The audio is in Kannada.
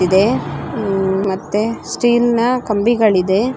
ಇದೆ ಮತ್ತೆ ಸ್ಟೀಲ್ ನ ಕಂಬಿಗಳಿದೆ.